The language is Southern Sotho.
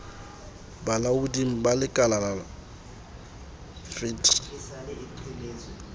bolaoding ba lekalala fet re